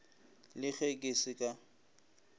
le ge ke se ka